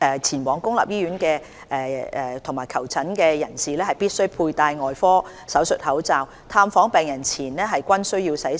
前往公立醫院和診所的人士，必須佩戴外科手術口罩，探訪病人前後均需洗手。